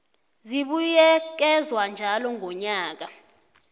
zibuyekezwa njalo ngonyaka